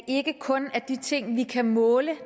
ikke kun er de ting vi kan måle